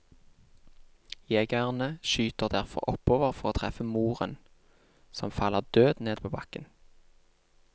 Jegerne skyter derfor oppover for å treffe moren, som faller død ned på bakken.